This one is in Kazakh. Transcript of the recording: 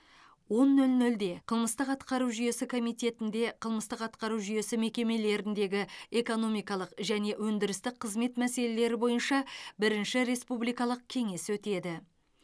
он нөл нөлде қылмыстық атқару жүйесі комитетінде қылмыстық атқару жүйесі мекемелеріндегі экономикалық және өндірістік қызмет мәселелері бойынша бірінші республикалық кеңес өтеді